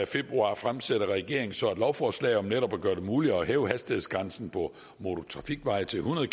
februar fremsætter regeringen så et lovforslag om netop at gøre det muligt at hæve hastighedsgrænsen på motortrafikveje til hundrede